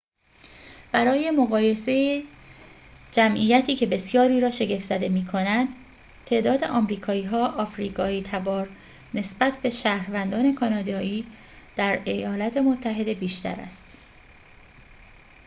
برای مقایسه‌ای جمعیتی که بسیاری را شگفت‌زده می‌کند تعداد آمریکایی‌های آفریقایی‌تبار نسبت به شهروندان کانادایی در ایالات متحده بیشتر است